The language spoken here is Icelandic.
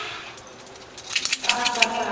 Hvað ætti ég að gera?